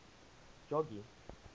jogee